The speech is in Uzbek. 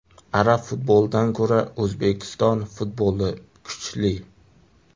Arab futbolidan ko‘ra O‘zbekiston futboli kuchli.